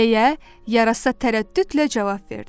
deyə yarasa tərəddüdlə cavab verdi.